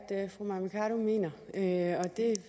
tage